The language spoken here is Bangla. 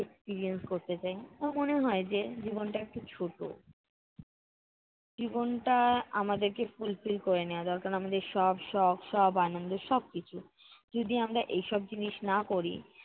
experience করতে চাই। আমার মনে হয় যে জীবনটা একটু ছোটো। জীবনটা আমাদেরকে fulfill করে নেয়া দরকার। আমাদের সব শখ সব আনন্দ সবকিছু। যদি আমরা এইসব জিনিস না করি